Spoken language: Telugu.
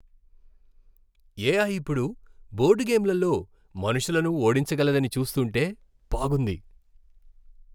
ఎఐ ఇప్పుడు బోర్డ్ గేమ్లలో మనుషులను ఓడించగలదని చూస్తుంటే బాగుంది.